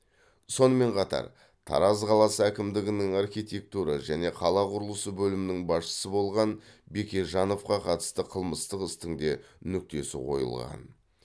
сонымен қатар тараз қаласы әкімдігінің архитектура және қала құрылысы бөлімінің басшысы болған бекежановқа қатысты қылмыстық істің де нүктесі қойылған